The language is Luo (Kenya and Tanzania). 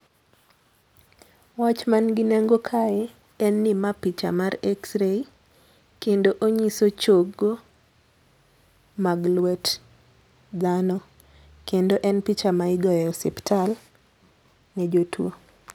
Wach man gi nengo kae en ni ma picha mar X-ray kendo onyiso chogo mag lwet dhano. Kendo en picha ma igoye osiptal ne jotuo.